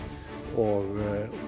og